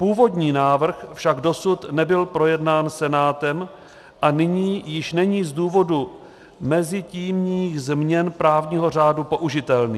Původní návrh však dosud nebyl projednán Senátem a nyní již není z důvodu mezitímních změn právního řádu použitelný.